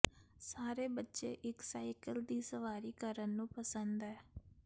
ਸਾਰੇ ਬੱਚੇ ਇੱਕ ਸਾਈਕਲ ਦੀ ਸਵਾਰੀ ਕਰਨ ਨੂੰ ਪਸੰਦ ਹੈ